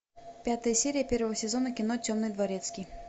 пятая серия первого сезона кино темный дворецкий